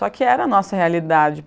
Só que era nossa realidade.